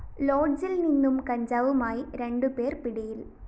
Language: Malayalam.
ലോഡ്ജില്‍ നിന്നും കഞ്ചാവുമായി രണ്ടു പേര്‍ പിടിയില്‍